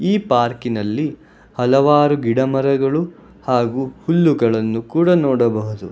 ಈ ಪಾರ್ಕಿನಲ್ಲಿ ಹಲವಾರು ಗಿಡಮರಗಳು ಹಾಗು ಹುಲ್ಲುಗಳನ್ನು ಕೂಡ ನೋಡಬಹುದು.